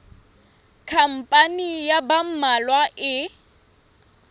khampani ya ba mmalwa e